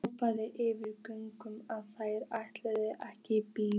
Hrópaði yfir götuna að þær ætluðu ekki í bíó.